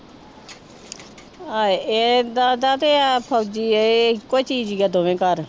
ਹਾਏ ਇਹਦਾ ਦਾ ਤੇ ਫ਼ੋਜ਼ੀ ਇਹ ਇਕੋ ਜੀਅ ਸੀਗਾ ਦੋਵੇਂ ਘਰ